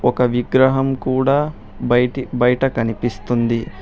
ఒక విగ్రహం కూడా బయటీ బయట కనిపిస్తుంది.